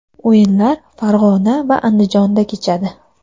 O‘yinlar Farg‘ona va Andijonda kechadi.